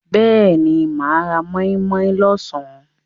Ehn, mà á ra móínmóín lọ́sàn.